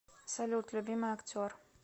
салют любимый актер